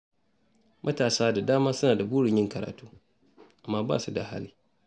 Matasa da dama suna da burin yin karatu, amma ba su da hali.